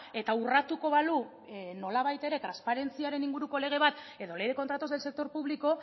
eta urratuko balu nolabait ere transparentziaren inguruko lege bat edo ley de contratos del sector público